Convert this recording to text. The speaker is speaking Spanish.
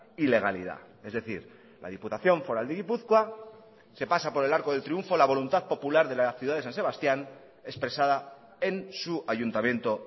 ilegalidad es decir la diputación foral de gipuzkoa se pasa por el arco del triunfo la voluntad popular de la ciudad de san sebastián expresada en su ayuntamiento